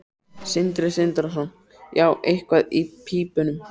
Sindri Sindrason: Já, eitthvað í pípunum?